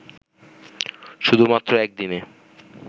শুধুমাত্র একদিনে